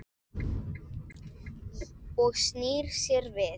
Og snýr sér við.